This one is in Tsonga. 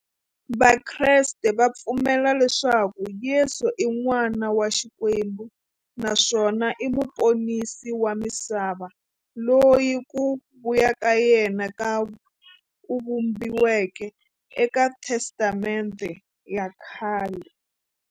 Vakreste va pfumela leswaku Yesu i n'wana wa Xikwembu naswona i muponisi wa misava, loyi ku vuya ka yena ku vhumbiweke eka Testamente ya khale.